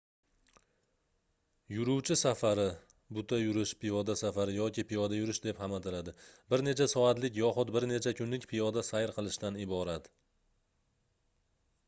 "yuruvchi safari buta yurish piyoda safari yoki piyoda yurish deb ham ataladi bir necha soatlik yoxud bir necha kunlik piyoda sayr qilishdan iborat